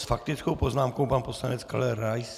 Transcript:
S faktickou poznámkou pan poslanec Karel Rais.